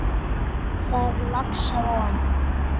Þar er laxa von.